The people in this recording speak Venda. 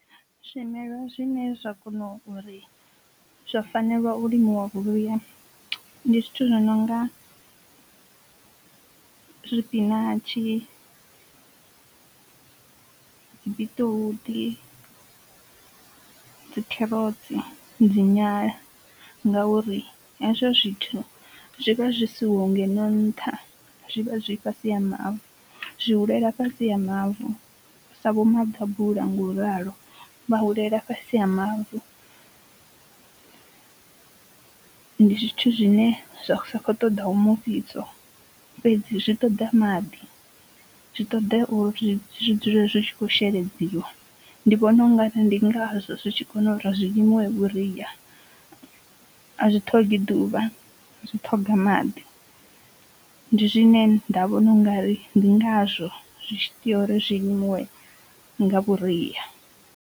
Zwimelwa zwine zwa kona uri zwa fanelwa u limiwa vhuria ndi zwithu zwi nonga zwipinatshi, biṱiruṱi, dzikherotsi, dzi nyala ngauri hezwo zwithu zwi vha zwi siho ngeno nṱha zwi vha zwi fhasi ha mavu, zwi hulela fhasi ha mavu sa vho maḓabula ngauralo vha hulela fhasi ha mavu. Ndi zwithu zwine zwa kho ṱoḓaho mufhiso fhedzi zwi ṱoḓa maḓi, zwi ṱoḓa uri zwi dzule zwi tshi kho sheledziwa ndi vhona u nga ri ndi ngazwo zwi tshi kona uri zwi limiwe vhuria, a zwi ṱhogi ḓuvha zwi ṱhoga maḓi ndi zwine nda vhona ungari ndi ngazwo zwi tshi tea uri zwi limiwe nga vhuria.